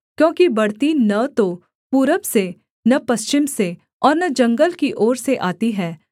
क्योंकि बढ़ती न तो पूरब से न पश्चिम से और न जंगल की ओर से आती है